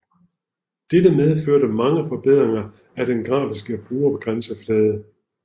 Dette medførte mange forbedringer af den grafiske brugergrænseflade